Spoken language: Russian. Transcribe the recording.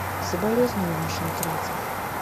соболезную вашей утрате